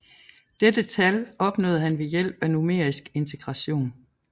Dette tal opnåede han ved hjælp af numerisk integration